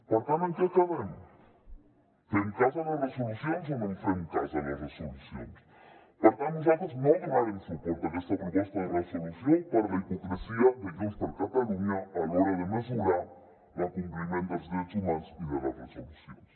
per tant en què quedem fem cas de les resolucions o no fem cas de les resolucions per tant nosaltres no donarem suport a aquesta proposta de resolució per la hipocresia de junts per catalunya a l’hora de mesurar l’acompliment dels drets humans i de les resolucions